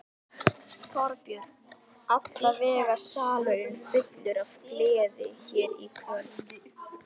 Þorbjörn: Allavega salurinn fullur af gleði hér í kvöld?